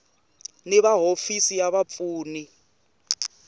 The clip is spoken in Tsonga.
ni va hofisi va vapfuni